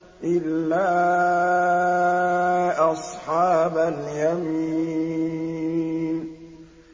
إِلَّا أَصْحَابَ الْيَمِينِ